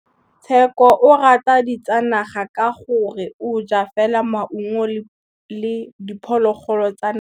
Tshekô o rata ditsanaga ka gore o ja fela maungo le diphologolo tsa naga.